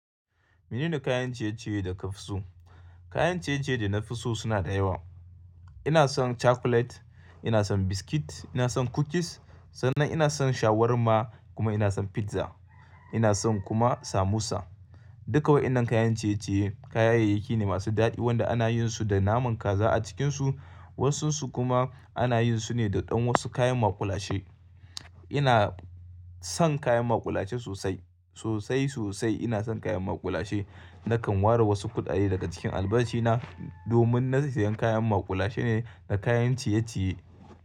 Menene kayan ciye-ciye da ka fi so? Kayan ciye-ciye da na fi so suna da yawa. Ina son chocolate, ina son biscuit, ina son cookies, sannan ina son shawarma kuma ina son pizza. Ina son kuma samosa. Duka wayannan kayan ciye-ciye kayayaki ne masu daɗi waɗanda ana yin su da naman kaza a cikinsu. Wasunsu kuma ana yin su ne da ɗan wasu kayan maƙulashe. Ina son kayan maƙulashe sosai, sosai sosai ina son kayan maƙulashe. Nakan ware wasu kuɗaɗe daga cikin albashina domin na sayan kayan maƙulashe ne da kayan ciye-ciye.